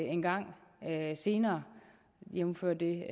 engang senere jævnfør det